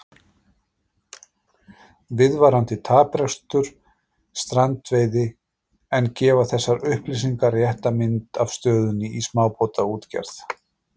Viðvarandi taprekstur strandveiði En gefa þessar upplýsingar rétta mynd af stöðunni í smábátaútgerð?